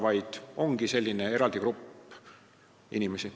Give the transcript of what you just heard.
Nad ongi selline eraldi grupp inimesi.